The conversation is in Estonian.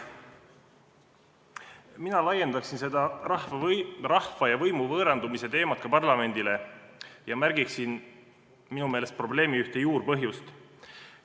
Mina laiendaksin seda rahva ja võimu võõrandumise teemat ka parlamendile ja märgiksin ühte minu meelest probleemi juurpõhjust.